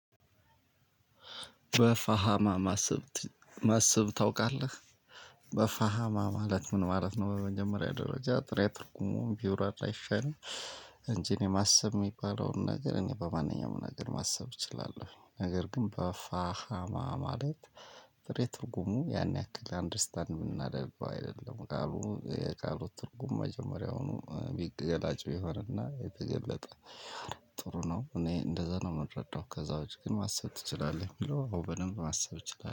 በፋሃማ ማሰብ ማሰብ ታውቃለህ በፋሃማ ማለት ምን ማለት ነው? በመጀመሪያ ደረጃ ጥሬ ትርጉሙን ቢብራራ አይሻልም። እንጂ እኔ ማሰብ እሚባለውን ነገር እኔ በማንኛውም ነገር ማሰብ እችላለሁኝ። ነገር ግን በፋሃማ ማለት ጥሬ ትርጉሙ ያን ያክል አንደርስታንድ እምናደርገው አይደለም። ቃሉ የቃሉ ትርጉም መጀመሪያውኑ ቢገላጭ ቢሆንና የተገለጠ ጥሩ ነው። እኔ እንደዛ ነው እምረዳው። ከዛ ውጪ ግን ማሰብ ትችላለህ እሚለው አዎ በደንብ ማሰብ እችላለሁ